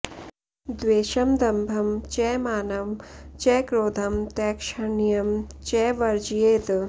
द्वेषं दम्भं च मानं च क्रोधं तैक्ष्ह्ण्यं च वर्जयेत्